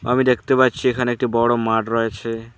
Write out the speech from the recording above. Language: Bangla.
আমি দেখতে পাচ্ছি এখানে একটি বড় মাঠ রয়েছে।